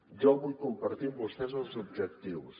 jo vull compartir amb vostès els objectius